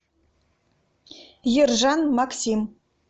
ержан максим